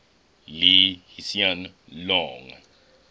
lee hsien loong